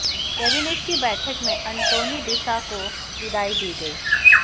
cabinet की बैठक में अंटोनी डिसा को विदाई दी गई